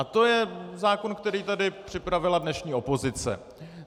A to je zákon, který tady připravila dnešní opozice.